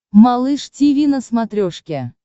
малыш тиви на смотрешке